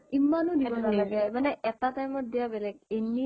ইমানো দিব নালাগে এটা time ত দিয়া বেলেগ